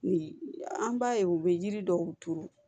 Ni an b'a ye u bɛ yiri dɔw turu